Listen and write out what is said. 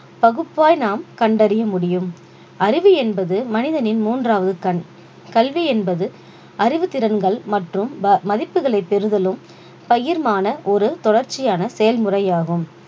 பகுப்பாய் நாம் கண்டறிய முடியும் அறிவு என்பது மனிதனின் மூன்றாவது கண் கல்வி என்பது அறிவுத்திறன்கள் மற்றும் ப~ மதிப்புகளை பெறுதலும் பயிர்மான ஒரு தொடர்ச்சியான செயல்முறையாகும்